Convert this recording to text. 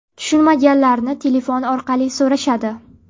Tushunmaganlarini telefon orqali so‘rashadi.